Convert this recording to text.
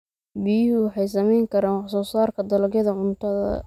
Biyuhu waxay saamayn karaan wax soo saarka dalagyada cuntada.